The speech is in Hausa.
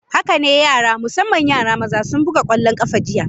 Haka ne, yara, musamman yara maza sun buga kwallon kafa jiya.